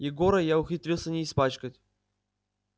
егора я ухитрился не испачкать